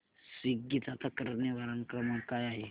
Swiggy चा तक्रार निवारण क्रमांक काय आहे